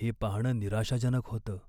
हे पाहणं निराशाजनक होतं.